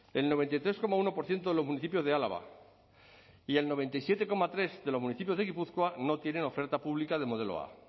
el noventa y tres coma uno por ciento de los municipios de álava y el noventa y siete coma tres de los municipios de gipuzkoa no tienen oferta pública de modelo a